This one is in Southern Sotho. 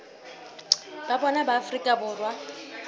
ba bona ba afrika borwa